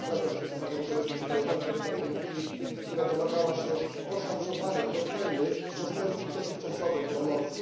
Zgadzam się z panią koleżanką Sargentini, która domagała się oszacowania oceny postępów dotychczasowej pomocy.